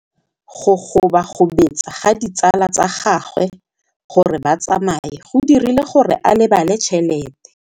Go gobagobetsa ga ditsala tsa gagwe, gore ba tsamaye go dirile gore a lebale tšhelete.